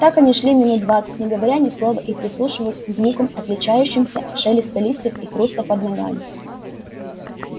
так они шли минут двадцать не говоря ни слова и прислушиваясь к звукам отличающимся от шелеста листьев и хруста под ногами